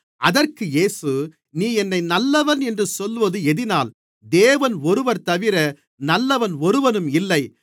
அதற்கு இயேசு நீ என்னை நல்லவன் என்று சொல்வது எதினால் தேவன் ஒருவர்தவிர நல்லவன் ஒருவனும் இல்லை